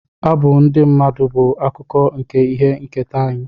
Abụ ndị mmadụ bụ akụkụ nke ihe nketa anyị